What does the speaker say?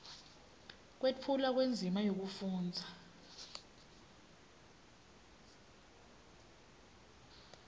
kwetfulwa kwendzima yekufundza